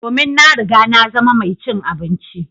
Domin na riga na zama mai cin abinci.